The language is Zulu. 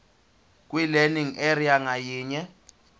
kwilearning area ngayinye